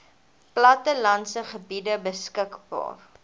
plattelandse gebiede beskikbaar